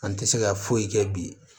An tɛ se ka foyi kɛ bi